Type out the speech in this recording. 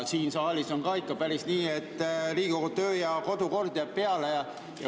Siin saalis on ka ikka nii, et Riigikogu töö‑ ja kodukord jääb peale.